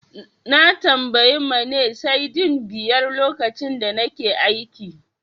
Na tambayi Mane Cedi biyar lokacin da nake aiki.